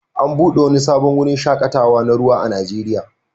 An buɗe wani sabon wurin shaƙatawa na ruwa a Najeriya